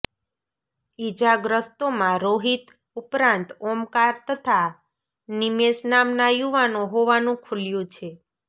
ઇજાગ્રસ્તોમાં રોહિત ઉપરાંત ઓમકાર તથા નિમેષ નામના યુવાનો હોવાનું ખુલ્યુ છે